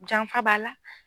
Janfa b'a la.